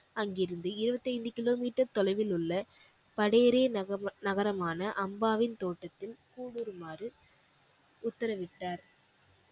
அங்கிருந்து இருபத்தி ஐந்து கிலோமீட்டர் தொலைவில் உள்ள படையறி நகமா~நகரமான அம்பாவின் தோட்டத்தில் கூடுருமாறு உத்தரவிட்டார்